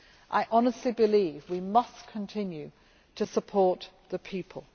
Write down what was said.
I honestly believe we must continue to support the people.